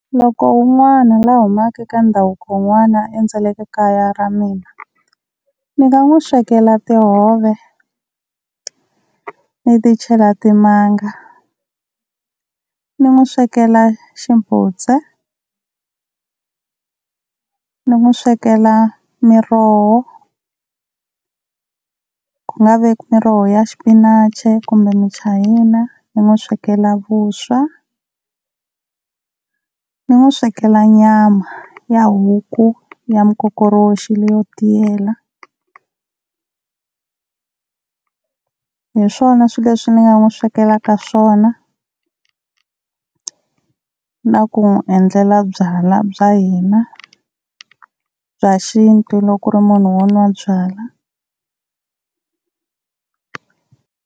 Loko wun'wana la humaka ka ndhavuko wun'wana a endzeleke kaya ra mina, ni nga n'wi swekela tihove ni ti chela timanga, ni n'wi swekela ximbudzwa, ni n'wi swekela miroho ku nga veki miroho ya xipinachi kumbe muchayina, ni n'wi swekela vuswa, ni n'wi swekela nyama ya huku ya mikokoroxi leyo tiyela. Hi swona swilo leswi ni nga n'wi swekelaka swona, na ku n'wi endlela byalwa bya hina bya xintu loko ku ri munhu wo nwa byala.